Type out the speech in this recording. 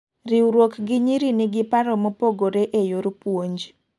riwruok gi nyiri nigi paro mopogore ee yor puonj